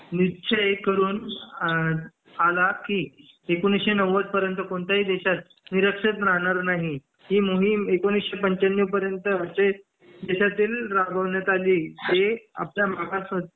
निश्चय करून आला की एकोणीसशे नव्वद पर्यन्त कोणत्याही देशात अनिरक्षर राहणार नाही ही मोहीम एकोणीसशे पंच्याण्णव पर्यन्त आजचे देशातील राबवण्यात आली अ आपल्या मागास